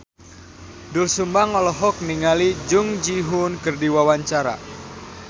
Doel Sumbang olohok ningali Jung Ji Hoon keur diwawancara